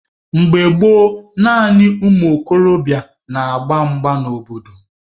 Mgbe gboo, naanị ụmụ okorobịa na-agba mgba n'obodo.